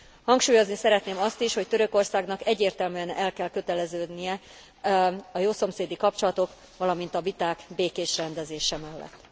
Hangsúlyozni szeretném azt is, hogy Törökországnak egyértelműen el kell köteleződnie a jószomszédi kapcsolatok, valamint a viták békés rendezése mellett.